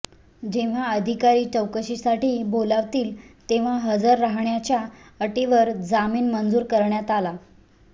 जेव्हा अधिकारी चौकशीसाठी बोलावतील तेव्हा हजर रहाण्याच्या अटीवर जामीन मंजूर करण्यात आला